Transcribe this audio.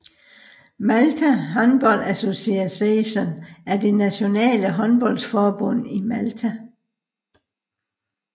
Malta Handball Association er det nationale håndboldforbund i Malta